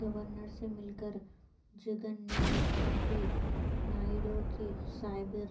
governor سے مل کر جگن نے سونپی نائیڈو کی سابئر